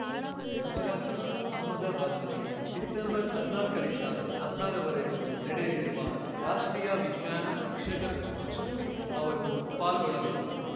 ಗುಜರಾತ್‌ನ ಅಹಮದಬಾದ್‌ನಲ್ಲಿ ಡಿಸೆಂಬರ್ಹದ್ನಾಲ್ಕರಿಂದ ಹದ್ನಾರವರೆಗೂ ನಡೆಯಲಿರುವ ರಾಷ್ಟ್ರೀಯ ವಿಜ್ಞಾನ ಶಿಕ್ಷಕರ ಸಮಾವೇಶದಲ್ಲಿ ಅವರು ಪಾಲ್ಗೊಳ್ಳಲಿದ್ದು